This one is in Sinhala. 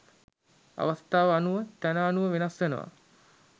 අවස්ථාව අනුව තැන අනුව වෙනස් වෙනවා.